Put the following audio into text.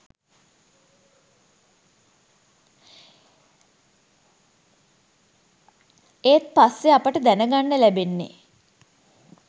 ඒත් පස්සේ අපිට දැන ගන්න ලැබෙන්නේ